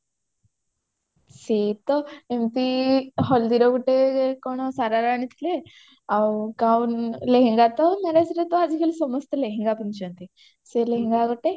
ସେ ତ ଏମିତି ହଲଦିରେ ଗୋଟେ କଣ ଶରାରା ଆଣିଥିଲେ ଆଉ gown ଲେହେଙ୍ଗା ତ ମାନେ ସେଟା ତ ଆଜିକାଲି ସମସ୍ତେ ଲେହେଙ୍ଗା ପିନ୍ଧୁଛନ୍ତି ସେ ଲେହେଙ୍ଗା ଗୋଟେ